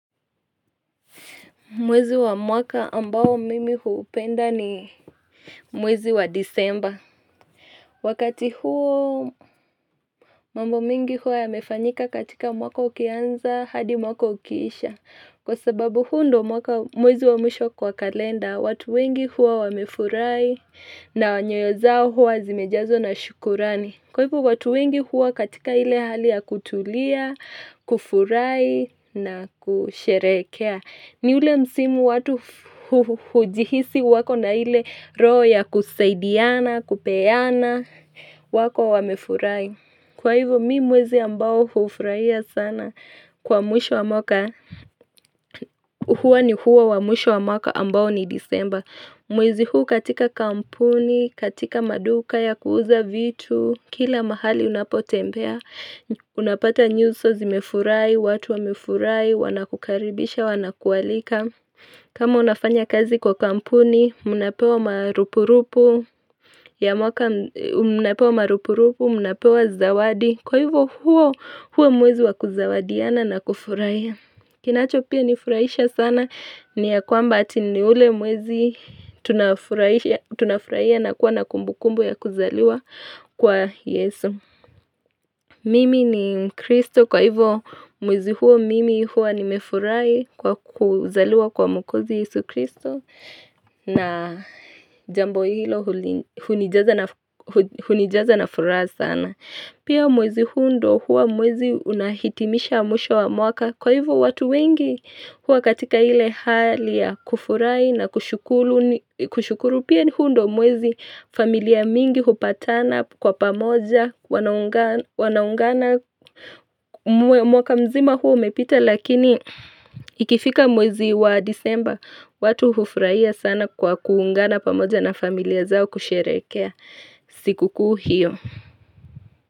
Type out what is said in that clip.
Mwezi wa mwaka ambao mimi huupenda ni mwezi wa disemba Wakati huo mambo mingi hua yamefanyika katika mwaka ukianza hadi mwaka ukiisha Kwa sababu huu ndo mwaka mwezi wa mwisho kwa kalenda watu wengi hua wamefurahi na nyoyo zao hua zimejazwa na shukurani Kwa ipo watu wengi hua katika ile hali ya kutulia, kufurahi na kusherekea ni ule msimu watu hujihisi wako na ile roho ya kusaidiana, kupeana, wako wamefurahi. Kwa hivyo mi mwezi ambao hufurahia sana kwa mwisho wa mwaka. Huwa ni huwa wa mwisho wa mwaka ambao ni disemba. Mwezi huu katika kampuni, katika maduka ya kuuza vitu, kila mahali unapotembea. Unapata nyuso zimefurahi, watu wa mefurahi, wanakukaribisha, wanakualika kama unafanya kazi kwa kampuni, mnapewa marupurupu, munapewa zawadi Kwa hivyo huo, huo mwezi wa kuzawadiana na kufurahia Kinacho pia nifuraisha sana, ni ya kwamba ati ni ule mwezi tunafuraiya na kuwa na kumbukumbu ya kuzaliwa kwa yesu Mimi ni Mkristo kwa hivo mwezi huo mimi hua nimefurai kwa kuzaliwa kwa mwkozi Yesu Kristo na jambo hilo hunijaza na furaha sana. Pia mwezi huu ndo huwa mwezi unahitimisha mwisho wa mwaka kwa hivyo watu wengi huwa katika hile hali ya kufurahi na kushukuru pia ni huu ndo mwezi familia mingi hupatana kwa pamoja wanaungana mwaka mzima huwa umepita lakini ikifika mwezi wa disemba watu hufurahiasana kwa kuungana pamoja na familia zao kusherekea sikuku hio.